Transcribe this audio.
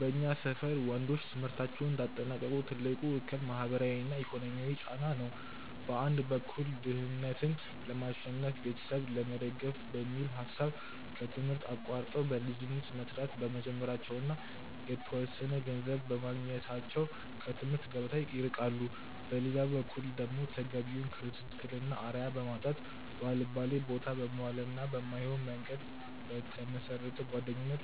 በእኛ ሰፈር ወንዶች ትምህርታቸውን እንዳያጠናቅቁ ትልቁ እክል ማህበራዊና ኢኮኖሚያዊ ጫና ነው። በአንድ በኩል ድህነትን ለማሸነፍና ቤተሰብ ለመደገፍ በሚል ሐሳብ ከትምህርት አቋርጠው በልጅነት መስራት በመጀመራቸውና የተወሰነ ገንዘብ በማግኘታቸው ከትምህርት ገበታ ይርቃሉ። በሌላ በኩል ደግሞ ተገቢውን ክትትልና አርአያ በማጣት፣ ባልባሌቦታ በመዋልና በማይሆን መንገድ በተመሰረተ ጓደኝነት